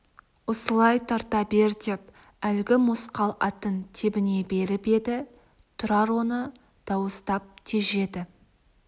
осылай тарта бер деп әлгі мосқал атын тебіне беріп еді тұрар оны дауыстап тежеді